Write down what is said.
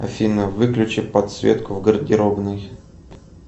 афина выключи подсветку в гардеробной